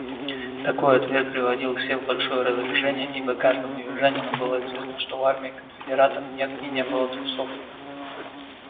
такой ответ приводил всех в большое раздражение ибо каждому южанину было известно что в армии конфедератов нет и не было трусов